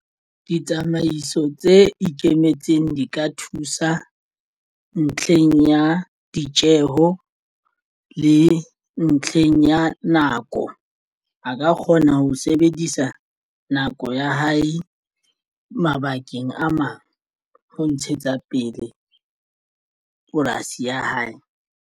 Ditsamaiso tse ikemetseng di ka thusa ntlheng ya ditjeho le ntlheng ya nako a ka kgona ho sebedisa nako ya hae mabakeng a mang ho ntshetsa pele polasi ya hae.